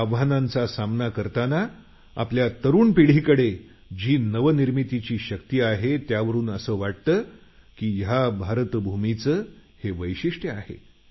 आव्हानांचा सामना करतांना आपल्या तरुण पिढीकडे जी नवनिर्मितीची शक्ती आहे त्यावरुन असं वाटतं की भारतभूमीचं हे वैशिष्ट्य आहे